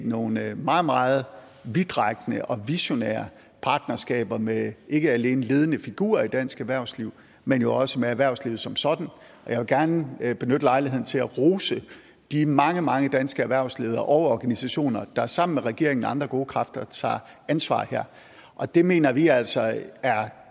nogle meget meget meget vidtrækkende og visionære partnerskaber med ikke alene ledende figurer i dansk erhvervsliv men også med erhvervslivet som sådan jeg vil gerne benytte lejligheden til at rose de mange mange danske erhvervsledere og organisationer der sammen med regeringen og andre gode kræfter tager ansvar her det mener vi altså er